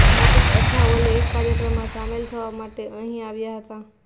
રામદાસ અઠાવલે એક કાર્યક્રમમાં સામેલ થવા માટે અહીં આવ્યા હતા